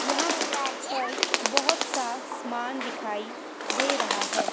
यहां पर बहोत सा सामान दिखाई दे रहा है।